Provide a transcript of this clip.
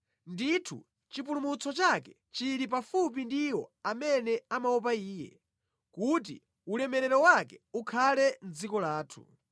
Ndithu chipulumutso chake chili pafupi ndi iwo amene amaopa Iye, kuti ulemerero wake ukhale mʼdziko lathu.